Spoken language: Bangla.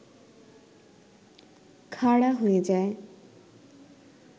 খাড়া হয়ে যায়